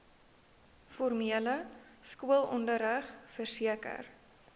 formele skoolonderrig verseker